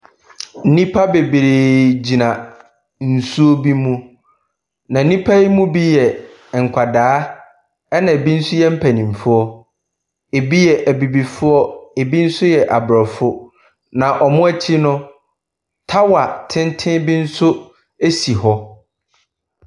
Nnipa bebree gyina nsuo bi mu, na nnipa yi mu bi yɛ nkwadaa, ɛnna ebi nso yɛ mpanimfoɔ. Ebi yɛ abibifoɔ, ebi nso yɛ aborɔfo, na wɔn akyi no, tower tenten bi nso si hɔ.